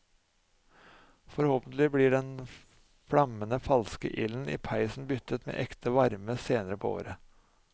Forhåpentlig blir den flammende falske ilden i peisen byttet med ekte varme senere på året.